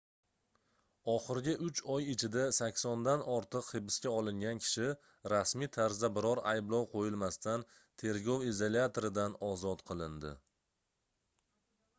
oxirgi 3 oy ichida 80 dan ortiq hibsga olingan kishi rasmiy tarzda biror ayblov qoʻyilmasdan tergov izolyatoridan ozod qilindi